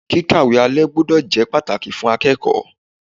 Kíkàwé alalé gbúdọ̀ jẹ́ pàtàkì fún akẹ́kọ̀ọ́.